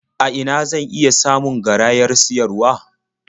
A ina zan iya samun garayar siyarwa?